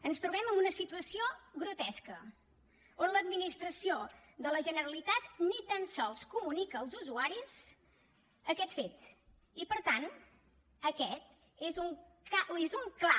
ens trobem amb una situació grotesca on l’administració de la generalitat ni tan sols comunica als usuaris aquest fet i per tant aquest és un clar